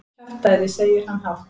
Kjaftæði, segir hann hátt.